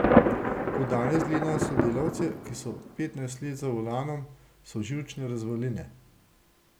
Ko danes gledam sodelavce, ki so petnajst let za volanom, so živčne razvaline.